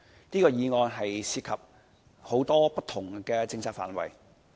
這項議案涉及很多不同的政策範圍。